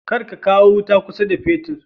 Kar ka kawo wuta kusa da fetur